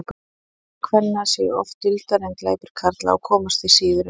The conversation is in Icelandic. glæpir kvenna séu oft duldari en glæpir karla og komast því síður upp